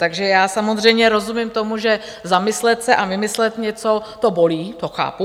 Takže já samozřejmě rozumím tomu, že zamyslet se a vymyslet něco, to bolí, to chápu.